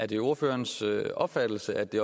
det ordførerens opfattelse at det